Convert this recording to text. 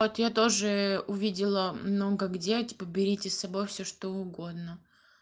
вот я тоже увидела но как де типа берите с собой всё что угодно